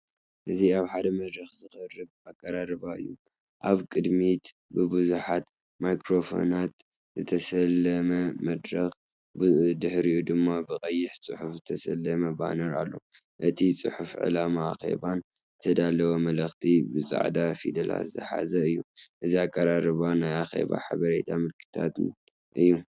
እዚ ኣብ ሓደ መድረኽ ዝቐርብ ኣቀራርባ እዩ። ኣብ ቅድሚት ብብዙሕ ማይክሮፎናት ዝተሰለመ መድረክ፡ ብድሕሪኡ ድማ ብቀይሕ ጽሑፍ ዝተሰለመ ባነር ኣሎ። እቲ ጽሑፍ ዕላማ ኣኼባን ዝተዳለወ መልእኽትን ብጻዕዳ ፊደላት ዝሓዘ እዩ። እዚ ኣቀራርባ ናይ ኣኼባን ሓበሬታ ምልክታን እዩ።